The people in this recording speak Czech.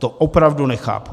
To opravdu nechápu.